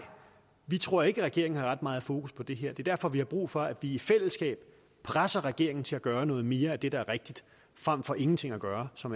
vi tror ikke at regeringen har ret meget fokus på det her det er derfor vi har brug for at vi i fællesskab presser regeringen til at gøre noget mere af det der er rigtigt frem for ingenting at gøre som